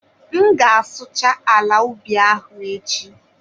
M ga-asụcha ala ubi ahụ echi